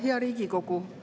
Hea Riigikogu!